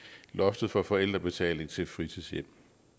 loftet for forældrebetaling til fritidshjem